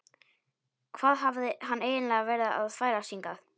Hvað hafði hann eiginlega verið að þvælast hingað?